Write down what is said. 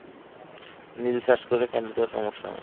নিজে চাষ করলে family তেও সমস্যা নাই।